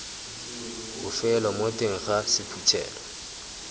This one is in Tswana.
bofelo mo teng ga sephuthelo